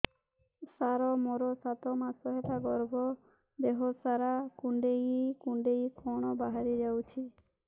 ସାର ମୋର ସାତ ମାସ ହେଲା ଗର୍ଭ ଦେହ ସାରା କୁଂଡେଇ କୁଂଡେଇ କଣ ବାହାରି ଯାଉଛି